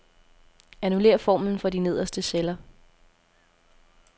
Annullér formlen for de nederste celler.